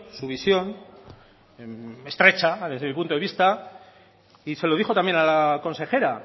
su visión estrecha desde mi punto de vista y se lo dijo también a la consejera